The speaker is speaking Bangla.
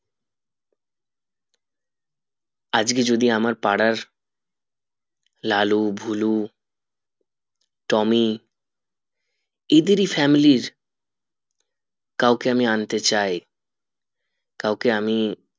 আজকে যদি আমার পাড়ার লালু ভুলু টমি এদের ই family র কাউকে আমি আন্তে চাই কাউকে আমি